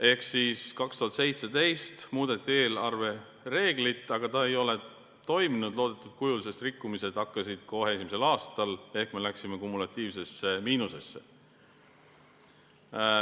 Ehk 2017 muudeti eelarvereeglit, aga see ei ole toiminud loodetud kujul, sest rikkumised hakkasid kohe esimesel aastal ehk me läksime kumulatiivsesse miinusesse.